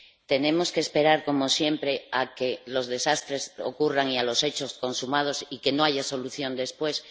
¿Tenemos que esperar, como siempre, a que los desastres ocurran y a los hechos consumados y que no haya solución después?